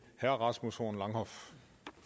herre rasmus horn langhoff